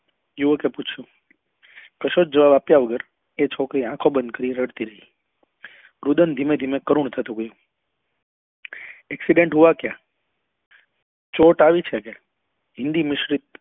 યુવકે પૂછ્યું કશો જ જવાબ આપ્યા વગર એ છોકરી આંખો બંદ કરી ને રડતી રહી રુદન ધીમે ધીમે કરુણ થતું ગયું accident હુઆ ક્યા ચોટ આવ્યું છે કે હિન્દી mistake